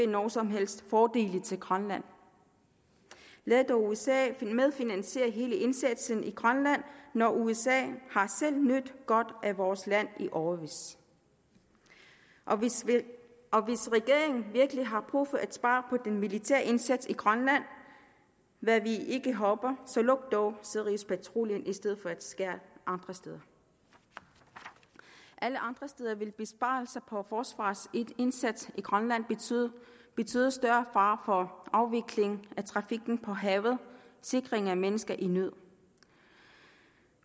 nogen som helst fordele til grønland lad dog usa medfinansiere hele indsatsen i grønland når usa selv har nydt godt af vores land i årevis og hvis regeringen virkelig har brug for at spare på den militære indsats i grønland hvad vi ikke håber så luk dog siriuspatruljen i stedet for at skære andre steder alle andre steder vil besparelser på forsvarets indsats i grønland betyde betyde større fare for afviklingen af trafikken på havet sikringen af mennesker i nød